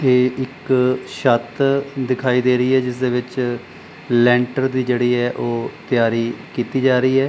ਇਹ ਇੱਕ ਛੱਤ ਦਿਖਾਈ ਦੇ ਰਹੀ ਹੈ ਜਿੱਸਦੇ ਵਿੱਚ ਲੈਂਟਰ ਦੀ ਜਿਹੜੀ ਹੈ ਓਹ ਤਿਆਰੀ ਕੀਤੀ ਜਾ ਰਹੀ ਹੈ।